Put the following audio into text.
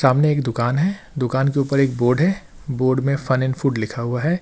सामने एक दुकान है दुकान के ऊपर एक बोर्ड है बोर्ड में फन एंड फूड लिखा हुआ है।